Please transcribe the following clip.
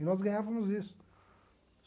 E nós ganhávamos isso.